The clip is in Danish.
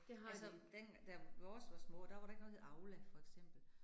Altså den, da vores var små, der var der ikke noget, der hed Aula for eksempel